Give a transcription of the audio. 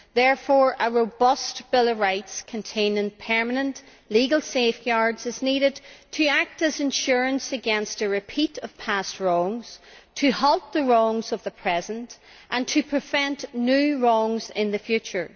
Therefore, a robust bill of rights, containing permanent legal safeguards, is needed to act as insurance against a repeat of past wrongs, to halt the wrongs of the present, and to prevent new wrongs in the future.